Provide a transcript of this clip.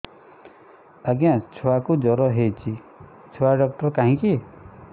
ଆଜ୍ଞା ଛୁଆକୁ ଜର ହେଇଚି ଛୁଆ ଡାକ୍ତର କାହିଁ କି